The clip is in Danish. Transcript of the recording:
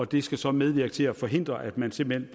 det skal så medvirke til at forhindre at man simpelt